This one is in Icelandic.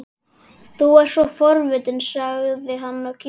Þú ert svo forvitinn sagði hann og kímdi.